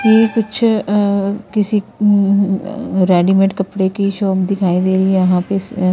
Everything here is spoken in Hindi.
ये कुछ अ अ किसी ए म रेडीमेड कपड़े की शॉप दिखाई दे रही है यहां पे स --